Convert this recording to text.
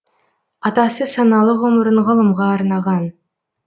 атасы саналы ғұмырын ғылымға арнаған